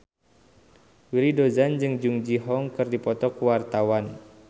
Willy Dozan jeung Jung Ji Hoon keur dipoto ku wartawan